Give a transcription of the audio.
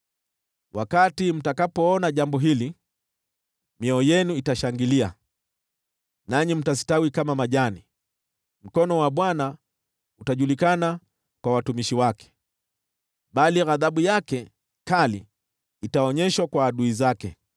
Wakati mtakapoona jambo hili, mioyo yenu itashangilia, nanyi mtastawi kama majani; mkono wa Bwana utajulikana kwa watumishi wake, bali ghadhabu yake kali itaonyeshwa kwa adui zake.